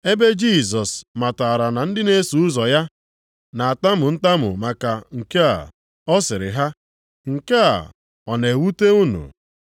Ebe Jisọs matara na ndị na-eso ụzọ ya na-atamu ntamu maka nke a ọ sịrị ha, “Nke a ọ na-ewute unu?